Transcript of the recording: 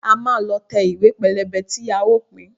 A máa lọ tẹ ìwé pélébé tí a ó pín